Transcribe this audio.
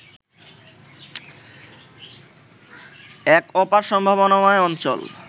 এক অপার সম্ভাবনাময় অঞ্চল